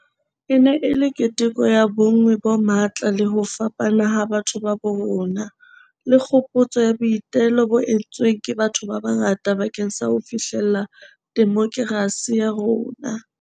E ne e le keteko ya bonngwe bo matla le ho fapana ha batho ba bo rona, le kgopotso ya boitelo bo entsweng ke batho ba bangata bakeng sa ho fihlella demokerasi ya rona.